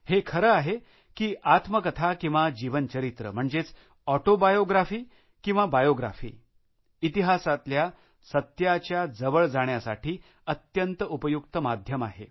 हे खरं आहे की आत्मकथा किंवा जीवनचरित्र म्हणजेच ऑटोबायोग्राफी किंवा बायोग्राफी इतिहासातल्या सत्याच्या जवळ जाण्यासाठी अत्यंत उपयुक्त माध्यम आहे